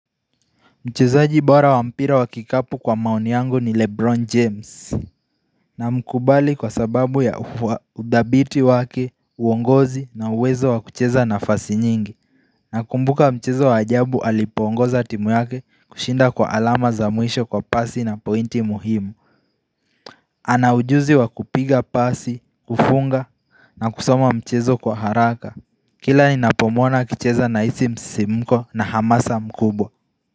Mchezaji bora wa mpira wa kikapu kwa maoni yangu ni Lebron James Namkubali kwa sababu ya udhabiti wake, uongozi na uwezo wa kucheza nafasi nyingi Nakumbuka mchezo wa ajabu alipoongoza timu yake kushinda kwa alama za mwisho kwa pasi na pointi muhimu ana ujuzi wa kupiga pasi, kufunga na kusoma mchezo kwa haraka Kila ninapomwona akicheza nahisi msisimko na hamasa mkubwa.